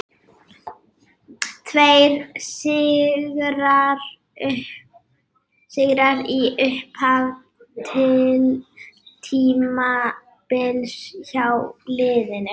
Tveir sigrar í upphafi tímabils hjá liðinu.